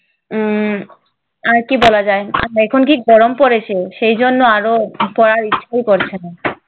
উম আর কি বলা যায়? এখন কি গরম পড়েছে সেই জন্য আরও পড়ার ইচ্ছে করছে না।